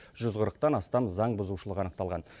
жүз қырықтан астам заңбұзушылық анықталған